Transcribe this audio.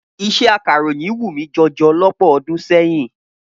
Iṣẹ́ akàròyìn wù mí jọjọ lọ́pọ̀ ọdún sẹ́yìn.